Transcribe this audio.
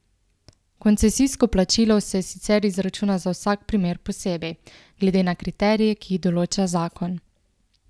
Koncesijsko plačilo se sicer izračuna za vsak primer posebej, glede na kriterije, ki jih določa zakon.